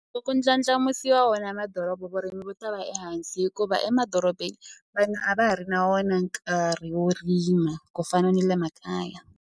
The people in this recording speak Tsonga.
Ku ndlandlamusiwa wona madoroba vurimi vo ta va ehansi hikuva emadorobeni vanhu a va ha ri na wona nkarhi wo rima ku fana ni le makaya.